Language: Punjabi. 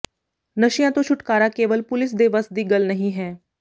ਨਸ਼ਿਆਂ ਤੋਂ ਛੁਟਕਾਰਾਕੇਵਲਪੁਲਿਸ ਦੇ ਵੱਸ ਦੀ ਗੱਲ ਨਹੀਂ ਹੈ